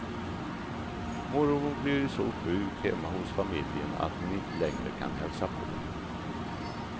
Mormor blir så sjuk hemma hos familjen att hon inte längre kan hälsa på.